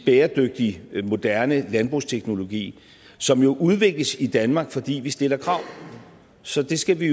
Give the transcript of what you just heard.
bæredygtig moderne landbrugsteknologi som jo udvikles i danmark fordi vi stiller krav så det skal vi